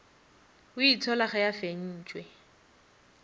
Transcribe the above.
o itshola ge a fentšwe